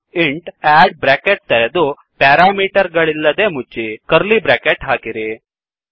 int add bracket ತೆರೆದು parameter ಗಳಿಲ್ಲದೆ ಮುಚ್ಚಿ ಕರ್ಲೀ ಬ್ರ್ಯಾಕೆಟ್ ಹಾಕಿರಿ